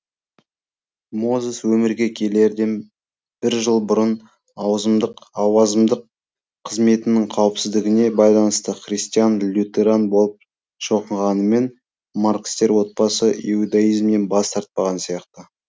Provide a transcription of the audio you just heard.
мозес өмірге келерден бір жыл бұрын ауазымдық қызметінің қауіпсіздігіне байланысты христиан лютеран болып шоқынғанымен маркстер отбасы иудаизмнен бас тартпаған сияқты